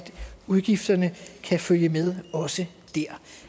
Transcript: udgifterne kan følge med også der